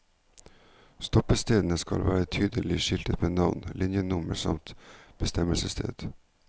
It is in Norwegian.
Stoppestedene skal være tydelig skiltet med navn, linjenummer samt bestemmelsessted.